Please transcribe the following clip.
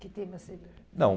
Que tema seria? Não